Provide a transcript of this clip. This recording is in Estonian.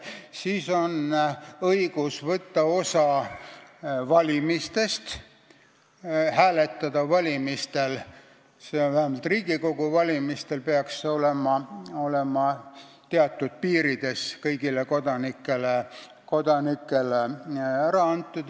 Teiseks, õigus võtta osa valimistest, hääletada – vähemalt Riigikogu valimistel peaks see õigus olema teatud piirides antud kõigile kodanikele.